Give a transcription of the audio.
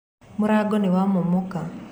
Mũrango nĩwamomoka.